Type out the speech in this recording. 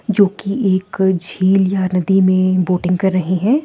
जो कि एक झील या नदी में बोटिंग कर रहे हैं ।